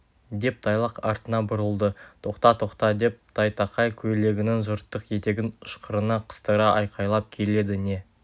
деп тайлақ артына бұрылды тоқта тоқта деп тайтақай көйлегінің жыртық етегін ышқырына қыстыра айқайлап келеді не